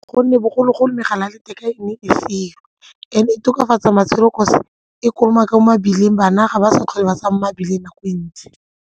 Gonne bogologolo megala ya letheka e ne e seo and-e e tokafatsa matshelo kotsi e kolomaka mo mebileng bana ga ba sa tlhole ba tsamaya mo mebileng nako e ntsi.